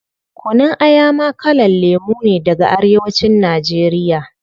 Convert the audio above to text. Kunun Aya ma kalan lemu ne daga arewa cin nigeria